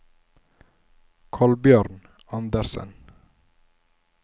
Kolbjørn Anderssen